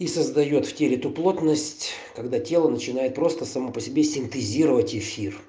и создаёт в теле ту плотность когда тело начинает просто сама по себе синтезировать эфир